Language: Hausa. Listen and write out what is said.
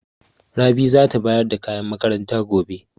Rabi za ta bayar da kayan makaranta gobe.